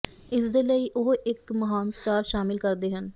ਇਸ ਦੇ ਲਈ ਉਹ ਇੱਕ ਮਹਾਨ ਸਟਾਰ ਸ਼ਾਮਿਲ ਕਰਦੇ ਹਨ